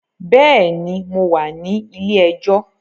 Bẹ́ẹ̀ni, mo wà ní ilé ẹjọ́